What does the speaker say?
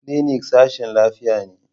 Clinic sashin lafiya ne.